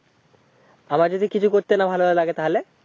আবার যদি কিছু করতে না ভালো লাগে তাহলে,